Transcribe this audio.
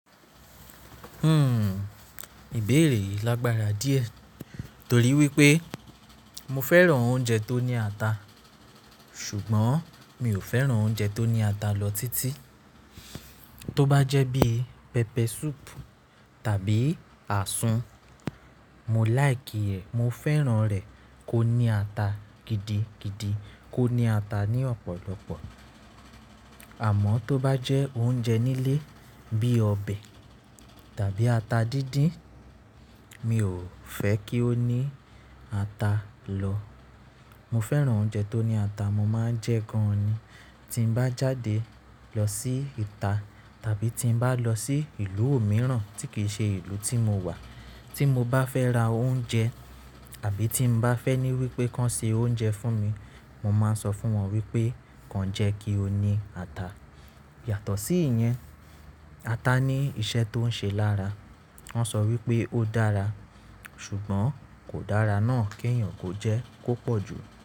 Hmm, ìbéèrè yìí lágbára díẹ̀ torí wípé mo fẹ́ràn oúnjẹ tó ní ata, ṣùgbọ́n mi ò fẹ́ràn oúnjẹ tó ní ata lọ títí. Tó bá jẹ́ bí pẹpẹ súùpù tàbí àsùn, mo like ẹ̀, mo fẹ́ràn rẹ̀ kó ní ata gidi gidi, kó ní ata ní ọ̀pọ̀lọpọ̀. Àmọ́ tó bá jẹ́ oúnjẹ nílé bí ọbẹ̀ tàbí ata díndín, mi ò fẹ́ kí ó ní ata lọ. Mo fẹ́ràn oúnjẹ tó ní ata, mo máa ń jẹ gan-an ni. Tí mo bá jáde lọ sí ìta tàbí tí mo bá lọ sí ìlú òmíràn tí kì í ṣe ìlú tí mo wà, tí mo bá fẹ́ ra oúnjẹ àbí tí mo bá fẹ́ ní wípé kí wọn ṣe oúnjẹ fún mi, mo máa ń sọ fún wọn wípé kí wọn jẹ́ kí ó ní ata. Yàtọ̀ sí ìyẹn, ata ní iṣẹ́ tó ń ṣe lára. Wọn sọ wípé ó dára ṣùgbọ́n kò dára náà kí èèyàn kó jẹ kó pọ̀ jù.